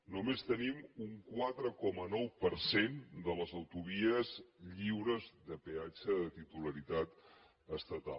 només tenim un quatre coma nou per cent de les autovies lliures de peatge de titularitat estatal